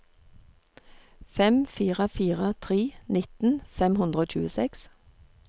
fem fire fire tre nitten fem hundre og tjueseks